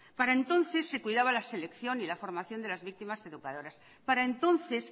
para entonces se cuidaba la selección y la formación de las víctimas educadoras para entonces